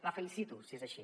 la felicito si és així